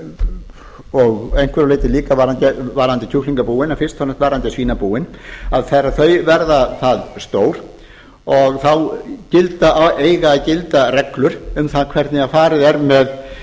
og að einhverju leyti líka varðandi kjúklingabúin en fyrst og fremst varðandi svínabúin að þegar þau verða það stór eiga að gilda reglur um það hvernig farið er